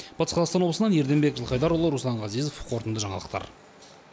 батыс қазақстан облысынан ерденбек жылқайдарұлы руслан ғазезов қорытынды жаңалықтар